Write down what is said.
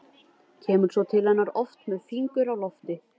Kemur svo til hennar aftur með fingur á lofti.